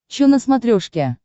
че на смотрешке